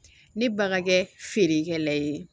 Ne ban ka kɛ feerekɛla ye